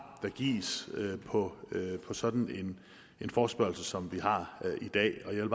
der gives på sådan en forespørgsel som vi har i dag jeg